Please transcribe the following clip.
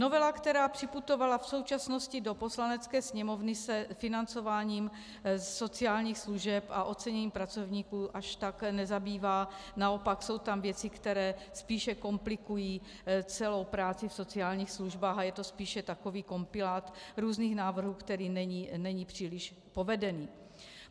Novela, která připutovala v současnosti do Poslanecké sněmovny, se financováním sociálních služeb a oceněním pracovníků až tak nezabývá, naopak jsou tam věci, které spíše komplikují celou práci v sociálních službách, a je to spíše takový kompilát různých návrhů, který není příliš povedený.